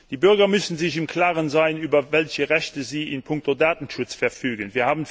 Die Bürger müssen sich im Klaren sein, über welche Rechte sie in puncto Datenschutz verfügen.